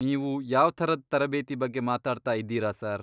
ನೀವು ಯಾವ್ಥರದ್ ತರಬೇತಿ ಬಗ್ಗೆ ಮಾತಾಡ್ತಾ ಇದ್ದೀರಾ ಸರ್?